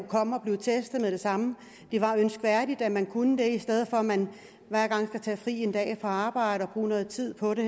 komme og blive testet med det samme det var ønskværdigt at man kunne det i stedet for at man hver gang skal tage fri en dag fra arbejde og bruge noget tid på det